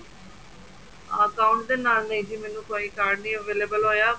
account ਦੇ ਨਾਲ ਨਹੀਂ ਸੀ ਮੈਨੂੰ ਕੋਈ card ਨਹੀਂ available ਹੋਇਆ